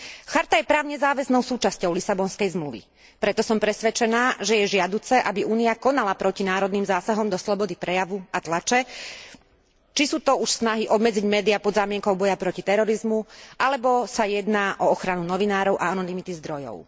Charta je právne záväznou súčasťou Lisabonskej zmluvy, preto som presvedčená, že je žiaduce, aby Únia konala proti národným zásahom do slobody prejavu a tlače, či sú to už snahy obmedziť médiá pod zámienkou boja proti terorizmu, alebo sa jedná o ochranu novinárov a anonymity zdrojov.